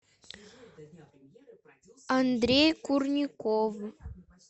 андрей курников